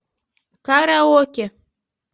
караоке